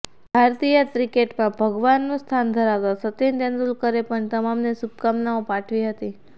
ભારતીય ક્રિકેટમાં ભગવાનનું સ્થાન ધરાવતા સચિન તેંડુલકરે પણ તમામને શુભકામનાઓ પાઠવી હતી